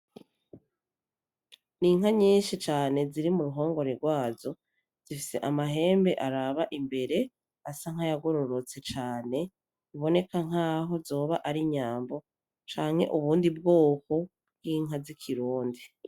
N'inka nyinshi cane ziri mu ruhongore rwazo, zifise amahembe araba imbere asa nayagororotse cane, biboneka nkaho zona ari inyambo canke ubundi bwoko bw'inka z'ikirundi.